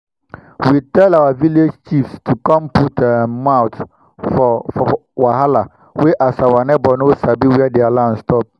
we tell our village chiefs to com put um mouth for for wahala wey as our nieghbor no sabi where dia land stop